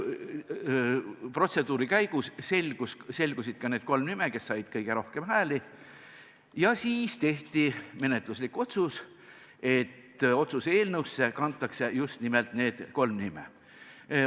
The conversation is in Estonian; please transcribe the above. Protseduuri käigus selgusid need kolm isikut, kes said kõige rohkem hääli, ja siis tehti menetluslik otsus, et otsuse eelnõusse kantakse just nimelt need kolm nime.